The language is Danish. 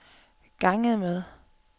ganget med